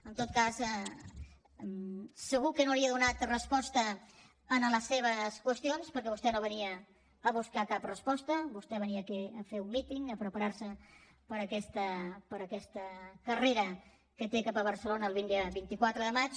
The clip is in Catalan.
en tot cas segur que no li he donat resposta a les seves qüestions perquè vostè no venia a buscar cap resposta vostè venia aquí a fer un míting a preparar se per aquesta carrera que té cap a barcelona el vint quatre de maig